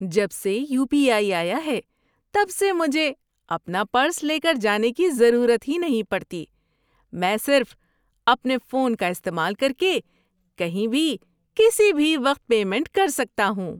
جب سے U P I آیا ہے تب سے مجھے اپنا پرس لے کر جانے کی ضرورت ہی نہیں پڑتی۔ میں صرف اپنے فون کا استعمال کر کے کہیں بھی کسی بھی وقت پیمنٹ کر سکتا ہوں۔